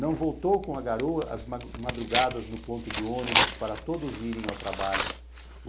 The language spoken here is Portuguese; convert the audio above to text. Não voltou com a garoa as madrugadas no ponto de ônibus para todos irem ao trabalho.